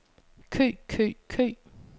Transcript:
kø kø kø